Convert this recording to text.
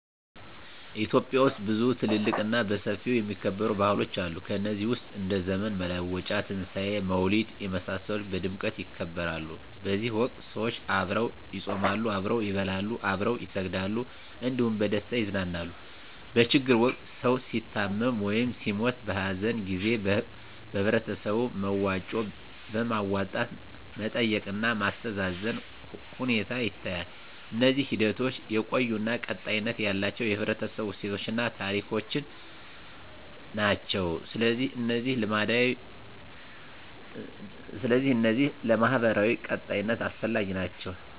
ኢትዮጵያ ውስጥ ብዙ ትልልቅ እና በሰፊው የሚከበሩ ባህሎች አሉ ከነዚህ ውስጥ እንደ ዘመን መለወጫ; ትንሣኤ; መውሊድ የመሳሰሉት በድምቀት ይከበራሉ በዚህ ወቅት ሰዎች አብረው ይጾማሉ፣ አብረው ይበላሉ፣ አብረው ይሰግዳሉ እንዲሁም በደስታ ይዘፍናሉ። በችግር ወቅት ሰዉ ሲታመም ወይም ሲሞት(በሀዘን) ጊዜ በህበረተሰቡ በመዋጮ በማዋጣት መጠየቅ እና ማስተዛዘን ሁኔታ ይታያል። እነዚህ ሂደቶች የቆዩ እና ቀጣይነት ያላቸው የህብረተሰቡ እሴቶችን እና ታሪኮችን ናቸው። ስለዚህ እነዚህ ለማህበራዊ ቀጣይነት አስፈላጊ ናቸው